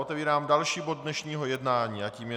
Otevírám další bod dnešního jednání a tím je